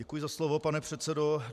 Děkuji za slovo, pane předsedo.